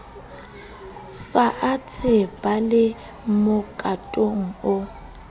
faatshe ba le mokatong o